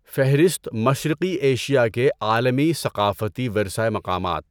فہرست مشرقی ایشیا کے عالمی ثقافتی ورثہ مقامات